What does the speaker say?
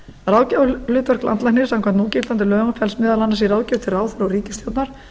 ráðgjafarhlutverk landlæknis samkvæmt núgildandi lögum felst meðal annars í ráðgjöf til ráðherra og ríkisstjórnar